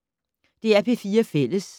DR P4 Fælles